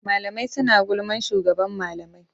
Mlamai suna gulman shugaban malamai.